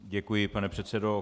Děkuji, pane předsedo.